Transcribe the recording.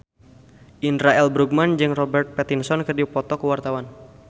Indra L. Bruggman jeung Robert Pattinson keur dipoto ku wartawan